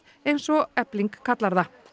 eins og Efling kallar það